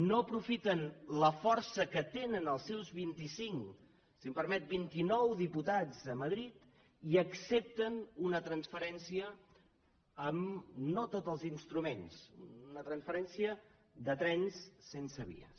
no aprofiten la força que tenen els seus vint i cinc si em permet vint i nou diputats a madrid i accepten una transferència amb no tots els instruments una transferència de trens sense vies